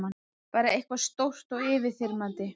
Bara eitthvað stórt og yfirþyrmandi.